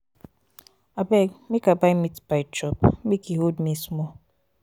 abeg make i buy meatpie chop make e hold me small.